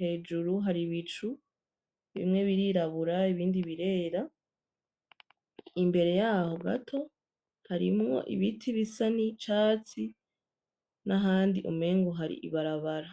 hejuru hari ibicu bimwe birirabura ibindi birera imbere yaho gato harimwo ibiti bisa n'icatsi nahandi umengo hari ibarabara.